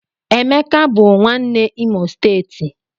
Emeka bụ nwanne Imo steeti